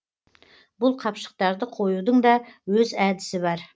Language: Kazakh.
бұл қапшықтарды қоюдың да өз әдісі бар